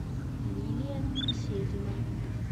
лилия беседина